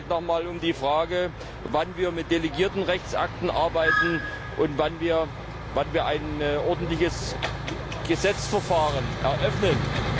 Es geht noch mal um die Frage, wann wir mit delegierten Rechtsakten arbeiten und wann wir ein ordentliches Gesetzgebungsverfahren eröffnen.